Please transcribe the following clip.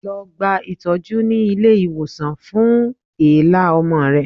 Lọ gba itọju ni ile iwosan fun èélá ọmọ rẹ